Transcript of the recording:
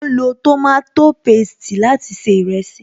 Wọn máa ń lo tòmátò pésti láti se ìrẹsì